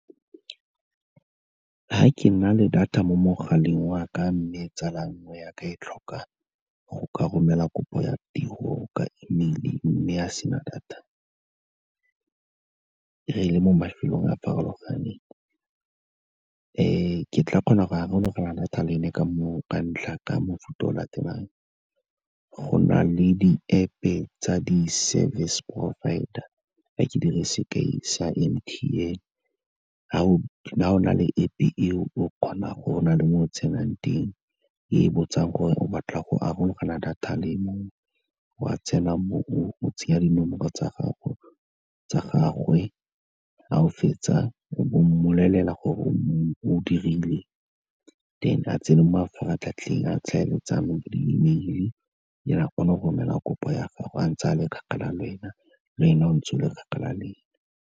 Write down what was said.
Fa ke na le data mo mogaleng wa ka, mme tsala nngwe yaka e tlhoka go ka romela kopo ya tiro ka email-e, mme a sena data, re le mo mafelong a farologaneng, ke tla kgona go arologana data le ene ka mofuta o latelang, go na le di-App-e tsa di-service provider, tla ke dire sekai sa M_T_N, fa o na le App-e eo go na le mo o tsenang teng, e botsang gore o batla go arologana data le mongwe, wa tsena mo, oa tsenya dinomoro tsa gagwe, fa o fetsa o bo mmolelela gore o dirile then a tsene mo mafaratlhatlheng a tlhaeletsano, di-email-e then a kgone go romela kopo ya gagwe a ntse a le kgakala le wena, le wena o ntse o le kgakala le ene.